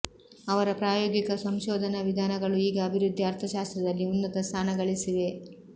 ಅವರ ಪ್ರಾಯೋಗಿಕ ಸಂಶೋಧನಾ ವಿಧಾನಗಳು ಈಗ ಅಭಿವೃದ್ಧಿ ಅರ್ಥಶಾಸ್ತ್ರದಲ್ಲಿ ಉನ್ನತ ಸ್ಥಾನಗಳಿಸಿವೆ